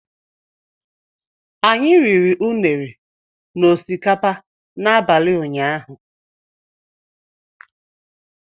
Anyị riri Unere na osikapa n'abalị ụnyaahụ